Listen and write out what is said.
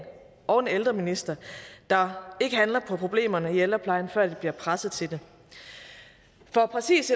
og en ældreminister der ikke handler på problemerne i ældreplejen før de bliver presset til det for præcis